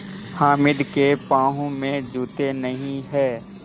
हामिद के पाँव में जूते नहीं हैं